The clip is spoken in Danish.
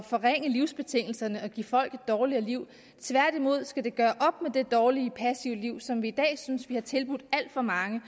forringe livsbetingelserne og give folk et dårligere liv tværtimod skal vi gøre op med det dårlige passive liv som vi i dag synes vi har tilbudt alt for mange